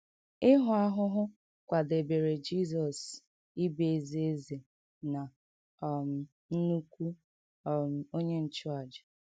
Ịhụ ahụhụ kwadebere Jizọs ịbụ ezi Eze na um Nnukwu um Onye Nchụàjà